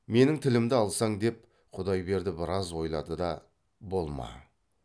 менің тілімді алсаң деп құдайберді біраз ойлады да болма